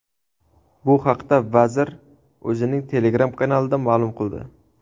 Bu haqda vazir o‘zining Telegram kanalida ma’lum qildi .